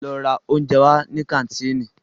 Lọ ra óúnjẹ wá ní kàńtìnì!